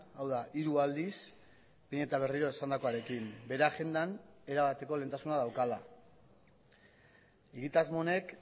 hau da hiru aldiz behin eta berriro esandakoarekin bere agendan erabateko lehentasuna daukala egitasmo honek